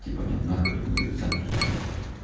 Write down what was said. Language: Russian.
типа иди нах мы тут не зависаем сутками епте